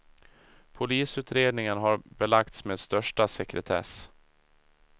Polisutredningen har belagts med största sekretess.